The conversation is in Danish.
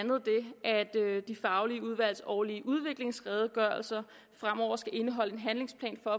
de faglige udvalgs årlige udviklingsredegørelser fremover skal indeholde en handlingsplan for